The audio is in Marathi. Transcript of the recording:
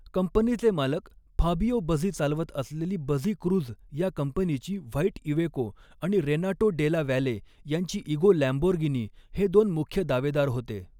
कंपनीचे मालक फाबिओ बझी चालवत असलेली बझी क्रूझ या कंपनीची व्हाईट इवेको आणि रेनाटो डेला वॅले यांची इगो लॅम्बोर्गिनी हे दोन मुख्य दावेदार होते.